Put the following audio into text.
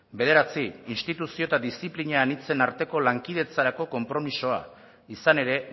bederatzi instituzio eta diziplina anitzen arteko lankidetzarako konpromisoa izan ere